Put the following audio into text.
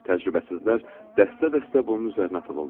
Təcrübəsizlər dəstə-dəstə bunun üzərinə atılırlar.